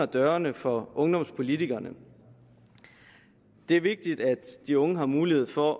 dørene for ungdomspolitikerne det er vigtigt at de unge har mulighed for